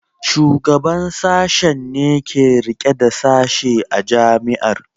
Shugaban Sashen ne ke rike da Sashe a Jami'ar.